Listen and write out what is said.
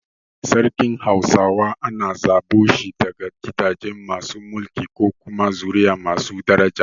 Sarkin hausawa ana zaɓo shi daga gidaje masu mulki ko kuma zuri’a masu daraja.